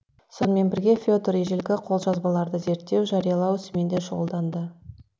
сонымен бірге федор ежелгі қолжазбаларды зерттеу жариялау ісімен де шұғылданды